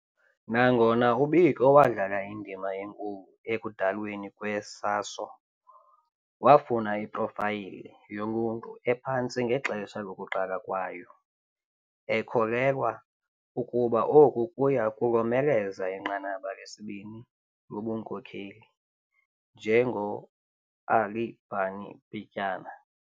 Nangona uBiko wadlala indima enkulu ekudalweni kwe-SASO, wafuna iprofayile yoluntu ephantsi ngexesha lokuqala kwayo, ekholelwa ukuba oku kuya kulomeleza inqanaba lesibini lobunkokheli, njengo-ally Barney Pityana.